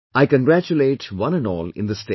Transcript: I congratulate one and all in the state